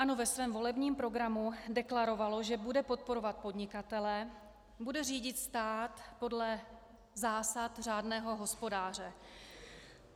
ANO ve svém volebním programu deklarovalo, že bude podporovat podnikatele, bude řídit stát podle zásad řádného hospodáře.